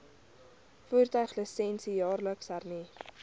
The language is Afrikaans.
voertuiglisensie jaarliks hernu